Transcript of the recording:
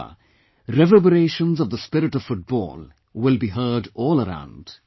I am sure reverberations of the spirit of football will be heard all around